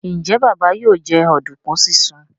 Njé Baba yóò jẹ oduku sisùn?